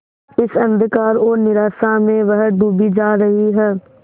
इस अंधकार और निराशा में वह डूबी जा रही है